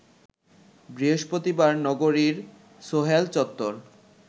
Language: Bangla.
বৃহস্পতিবার নগরীর সোহেল চত্বর